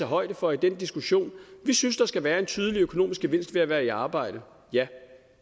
højde for i den diskussion vi synes der skal være en tydelig økonomisk gevinst ved at være i arbejde ja